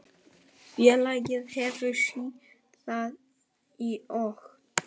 Félagið hefur síðan í okt